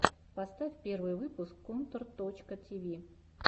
поставь первый выпуск контор точка ти ви